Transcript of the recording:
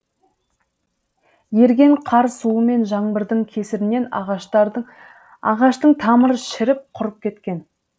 еріген қар суы мен жаңбырдың кесірінен ағаштың тамыры шіріп құрып кеткен